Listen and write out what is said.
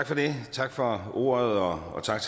tak for det og så er